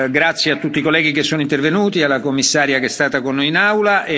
Grazie a tutti i colleghi che sono intervenuti e alla Commissaria che è stata con noi in Aula.